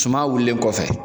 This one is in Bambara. Suma wulilen kɔfɛ